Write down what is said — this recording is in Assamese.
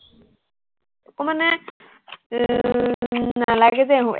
মোৰ মানে